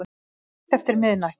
Það var rétt eftir miðnætti